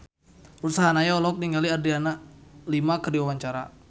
Ruth Sahanaya olohok ningali Adriana Lima keur diwawancara